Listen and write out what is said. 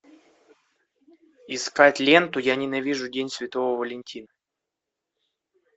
искать ленту я ненавижу день святого валентина